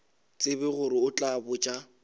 tsebe gore o tla botša